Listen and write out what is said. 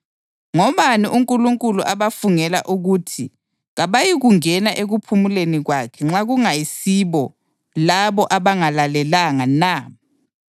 Ngobani uNkulunkulu abafungela ukuthi kabayikungena ekuphumuleni kwakhe nxa kungayisibo labo abangalalelanga na?